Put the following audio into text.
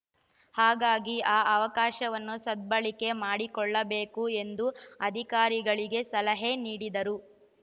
ಹಾಗಾಗಿ ಆ ಅವಕಾಶವನ್ನು ಸದ್ಭಳಕೆ ಮಾಡಿಕೊಳ್ಳಬೇಕು ಎಂದು ಅಧಿಕಾರಿಗಳಿಗೆ ಸಲಹೆ ನೀಡಿದರು